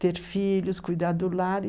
ter filhos, cuidar do lar.